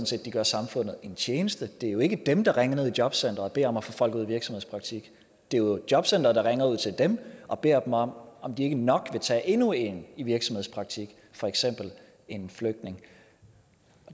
set de gør samfundet en tjeneste det er jo ikke dem der ringer ned til jobcenteret og beder om at få folk ud i virksomhedspraktik det er jo jobcenteret der ringer ud til dem og beder dem om om de ikke nok vil tage endnu en i virksomhedspraktik for eksempel en flygtning